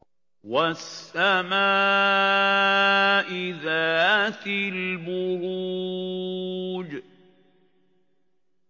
وَالسَّمَاءِ ذَاتِ الْبُرُوجِ